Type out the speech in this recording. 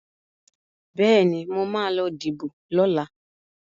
Bẹ́ẹ̀ni, mo ma lọ díbò lọ́la